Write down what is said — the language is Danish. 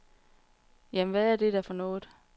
Jamen, hvad er det da for noget.